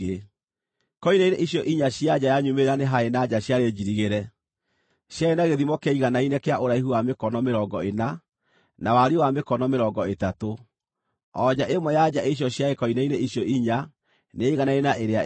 Koine-inĩ icio inya cia nja ya nyumĩrĩra nĩ haarĩ na nja ciarĩ njirigĩre. Ciarĩ na gĩthimo kĩaiganaine kĩa ũraihu wa mĩkono mĩrongo ĩna, na wariĩ wa mĩkono mĩrongo ĩtatũ ; o nja ĩmwe ya nja icio ciarĩ koine-inĩ icio inya nĩyaiganaine na ĩrĩa ĩngĩ.